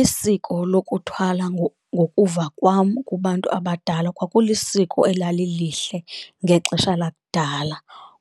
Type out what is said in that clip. Isiko lokuthwala ngokuva kwam kubantu abadala kwakulisiko elalilihle ngexesha lakudala